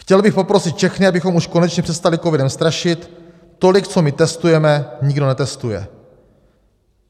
Chtěl bych poprosit všechny, abychom už konečně přestali covidem strašit, tolik, co my testujeme, nikdo netestuje.